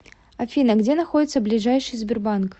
афина где находится ближайший сбербанк